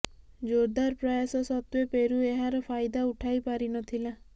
ଜୋରଦାର ପ୍ରୟାସ ସତ୍ତେ୍ୱ ପେରୁ ଏହାର ଫାଇଦା ଉଠାଇ ପାରିନଥିଲା